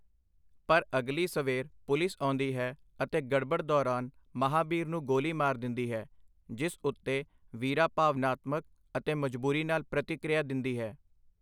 ਪਰ ਅਗਲੀ ਸਵੇਰ ਪੁਲਿਸ ਆਉਂਦੀ ਹੈ ਅਤੇ ਗੜਬੜ ਦੌਰਾਨ ਮਹਾਬੀਰ ਨੂੰ ਗੋਲੀ ਮਾਰ ਦਿੰਦੀ ਹੈ, ਜਿਸ ਉੱਤੇ ਵੀਰਾ ਭਾਵਨਾਤਮਕ ਅਤੇ ਮਜ਼ਬੂਰੀ ਨਾਲ਼ ਪ੍ਰਤੀਕ੍ਰਿਆ ਦਿੰਦੀ ਹੈ।